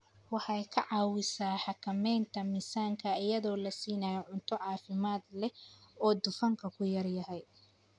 Waxay ka caawisaa xakamaynta miisaanka iyadoo la siinayo cunto caafimaad leh oo dufanku ku yar yahay.